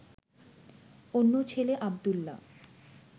অন্য ছেলে আব্দুল্লাহ